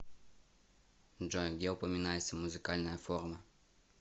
джой где упоминается музыкальная форма